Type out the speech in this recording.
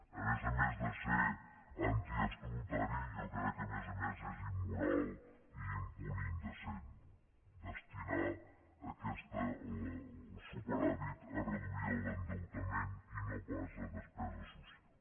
a més a més de ser antiestatutari jo crec que a més a més és immoral i un punt indecent destinar el superàvit a reduir l’endeutament i no pas a despesa social